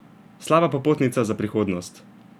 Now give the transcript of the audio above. Slaba popotnica za prihodnost!